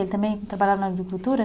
Ele também trabalhava na agricultura?